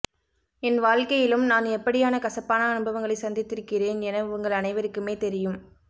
என் வாழ்க்கையிலும் நான் எப்படியான கசப்பான அனுபவங்களைச் சந்தித்திருக்கிறேன் என உங்கள் அனைவருக்குமே தெரியும்